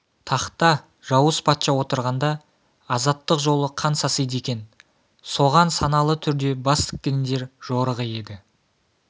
тақта жауыз патша отырғанда азаттық жолы қан сасиды екен соған саналы түрде бас тіккендер жорығы еді